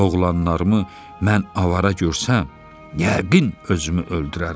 Oğlanlarımı mən avara görsəm, yəqin özümü öldürərəm.